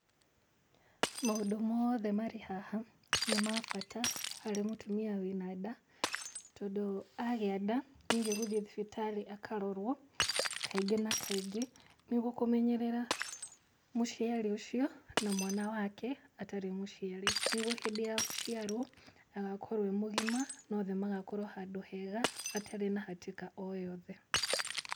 Maũndũ mothe marĩ haha nĩ ma bata harĩ mũtimia wĩna nda, tondũ agĩa nda nĩ- gũthiĩ thibitarĩ akarorwo kaingĩ na kaingĩ, nĩguo kũmenyerera mũciari ũcio na mwana wake atarĩ mũciari, nĩguo hĩndĩ ya gũciarwo agakorwo e mũgima na othe magakorwo handũ hega, hatarĩ na hatĩka o yothe.